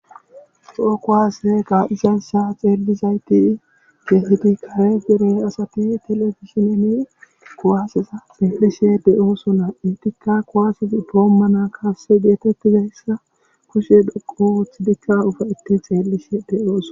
Toho kuwase ka'izayssa xeelizayssi keehipe asati telebizhinne kuwase kaasay xeelishe de'osona . eetikka kuwase doomana kaasay geetetizassa kushe dhoqu oothidi ufayti xeelishe de'osona.